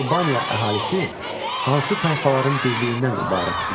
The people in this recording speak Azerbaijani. Alban əhalisi hansı tayfaların birliyindən ibarət idi?